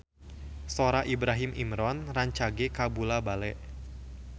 Sora Ibrahim Imran rancage kabula-bale